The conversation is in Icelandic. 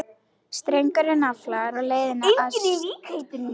Strengurinn nafla á leiðinni að slitna.